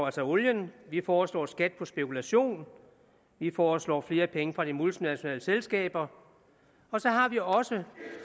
altså olien vi foreslår skat på spekulation vi foreslår flere penge fra de multinationale selskaber så har vi også